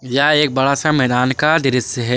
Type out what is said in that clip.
यह एक बड़ा सा मैदान का दृश्य है।